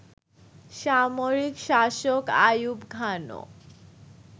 সামরিক শাসক আইয়ুব খানও